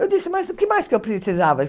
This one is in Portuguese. Eu disse, mas o que mais eu precisava?